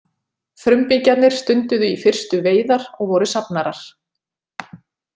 Frumbyggjarnir stunduðu í fyrstu veiðar og voru safnarar.